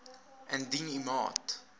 indien u maat